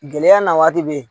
Gɛlɛya na waati bɛ yen